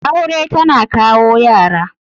Aure tana kawo Yara.